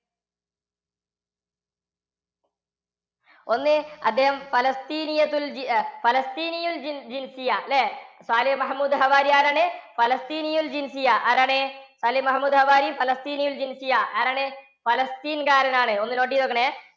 ഒന്ന് അദ്ദേഹം പലസ്തീനിയത്തുൽ അല്ലേ? സാലിഹ് മഹമൂദ് ഹവാരി ആരാണ്? പലസ്തീനയിൽ ആരാണ് സാലിഹ് മഹമൂദ് ഹവാരി പലസ്തീനയിൽ ആരാണ് പലസ്തീൻ കാരനാണ്. ഒന്ന് note ചെയ്തു വയ്ക്കണേ.